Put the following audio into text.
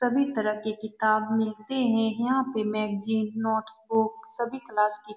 सभी तरह के किताब मिलते हैं यहाँ पे मैगज़ीन नोट्सबुक सभी क्लास की --